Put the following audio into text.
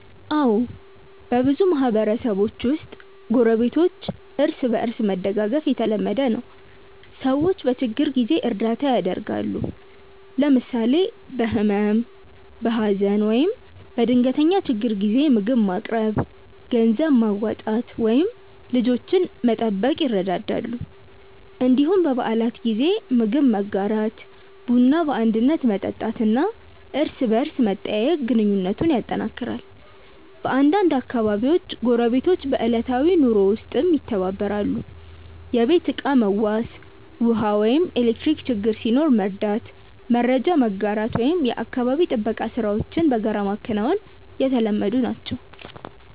አዎ፣ በብዙ ማህበረሰቦች ውስጥ ጎረቤቶች እርስ በእርስ መደጋገፍ የተለመደ ነው። ሰዎች በችግር ጊዜ እርዳታ ያደርጋሉ፣ ለምሳሌ በህመም፣ በሀዘን ወይም በድንገተኛ ችግር ጊዜ ምግብ ማቅረብ፣ ገንዘብ ማዋጣት ወይም ልጆችን መጠበቅ ይረዳዳሉ። እንዲሁም በበዓላት ጊዜ ምግብ መጋራት፣ ቡና በአንድነት መጠጣት እና እርስ በርስ መጠያየቅ ግንኙነቱን ያጠናክራል። በአንዳንድ አካባቢዎች ጎረቤቶች በዕለታዊ ኑሮ ውስጥም ይተባበራሉ፤ የቤት ዕቃ መዋስ፣ ውሃ ወይም ኤሌክትሪክ ችግር ሲኖር መርዳት፣ መረጃ መጋራት ወይም የአካባቢ ጥበቃ ሥራዎችን በጋራ ማከናወን የተለመዱ ናቸው።